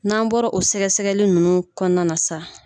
N'an bɔra o sɛgɛ sɛgɛli ninnu kɔnɔna na sa.